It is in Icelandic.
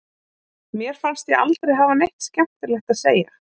Mér fannst ég aldrei hafa neitt skemmtilegt að segja.